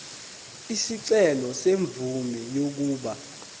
isicelo semvume yokuba